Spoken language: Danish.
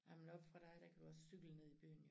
Ej men oppe fra dig der kan du også cykle ned i byen jo